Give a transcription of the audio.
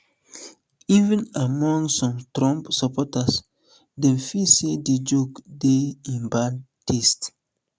even among some strong trump supporters dem feel say di joke dey in bad taste